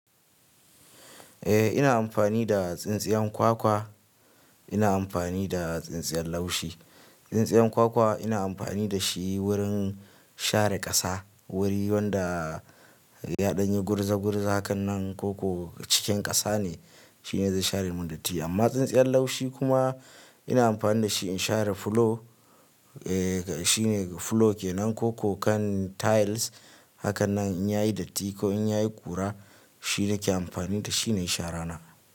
Eh ina amfani da tsintsiyan kwakwa, ina amfani da tsintsiyan laushi. Tsintsiyan kwakwa ina amfani da shi wurin share ƙasa, wuri wanda yaɗanyi gurzagurza, hakanan koko cikin ƙasa ne shine zai share mun datti. Amma tsintsiyan laushi kuma ina amfani da shi ina share fulo. Eh shine fulo ke nan koko kan tiles. Hakanan in yayi datti ko in yayi ƙura shi nake amfani da shi nayi sharana.